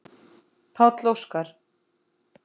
Páll Óskar.